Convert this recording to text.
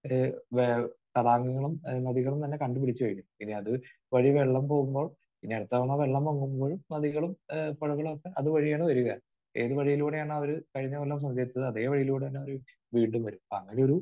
ഏഹ് വേ തടാകങ്ങളും നദികളും തന്നെ കണ്ടുപിടിച്ച് കഴിഞ്ഞു. ഇനി അത് വഴി വെള്ളം പോകുമ്പോൾ ഇനി അടുത്ത തവണ വെള്ളം പൊങ്ങുമ്പോഴും നദികളും ഏഹ് പുഴകളുമൊക്കെ അതുവഴിയാണ് വരിക. ഏത് വഴിയിലൂടെയാണോ അവർ കഴിഞ്ഞ കൊല്ലം സഞ്ചരിച്ചത്, അതേ വഴിയിലൂടെ തന്നെ അവർ വീണ്ടും വരും. അങ്ങനെയൊരു